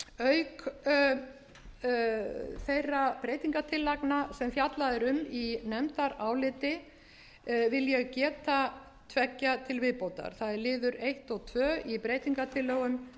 auk þeirra breytingartillagna sem fjallað er um í nefndaráliti vil ég geta tveggja til viðbótar það er liður eins og tvö í breytingartillögum